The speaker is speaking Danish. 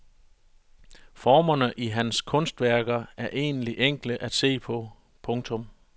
Formerne i hans kunstværker er egentlig enkle at se på. punktum